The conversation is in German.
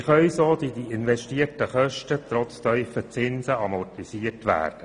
Wie können so die investierten Kosten amortisiert werden?